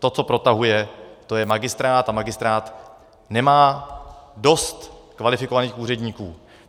To, co protahuje, to je magistrát a magistrát nemá dost kvalifikovaných úředníků.